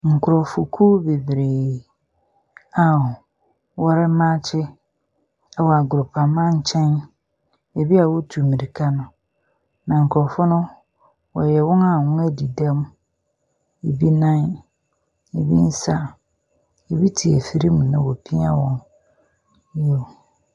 Nkorɔfokuw bebree a wɔremaakye wɔ agoroprama nkyɛn beebi a wɔtu mirika no. Na nkorɔfo no, wɔyɛ wɔn a wɔadi dɛm, bi nan, bi nsa, bi te afiri mu na wopia wɔn. Nyew.